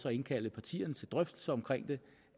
at indkalde partierne til drøftelser om det